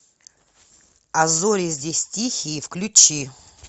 а зори здесь тихие включи